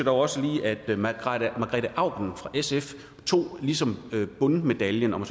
også lige at at margrete auken fra sf ligesom tog bundmedaljen om